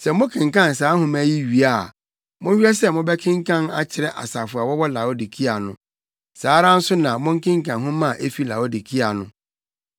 Sɛ mokenkan saa nhoma yi wie a monhwɛ sɛ mobɛkenkan akyerɛ asafo a wɔwɔ Laodikea no. Saa ara nso na monkenkan nhoma a efi Laodikea no.